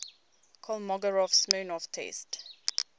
kolmogorov smirnov test